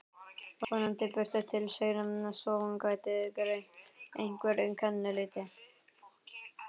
Vonandi birti til seinna svo hún gæti greint einhver kennileiti.